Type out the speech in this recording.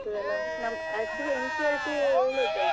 ಅದೇ CET ಸುಮಾರ್ books ಇರ್ತದೆ ಅಲ್ಲ actually NCERT ಯೇ ಒಳ್ಳೆದು.